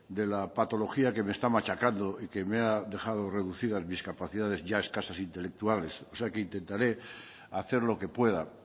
de la patología que me está machacando y que me ha dejado reducida mis capacidades ya escasas intelectuales o sea que intentaré hacer lo que pueda